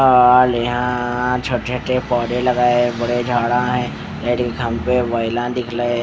और यहाँ छोटे छोटे पौधे लगाए है बड़े झाड़ा है रेडी काम पे वेला दिखले --